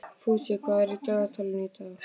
Fúsi, hvað er í dagatalinu í dag?